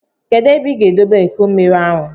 Kedụ ebe ị ga-edobe iko mmiri ahụ?